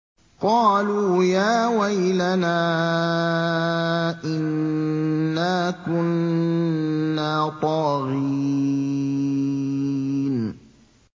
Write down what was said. قَالُوا يَا وَيْلَنَا إِنَّا كُنَّا طَاغِينَ